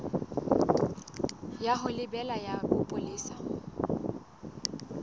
ya ho lebela ya bopolesa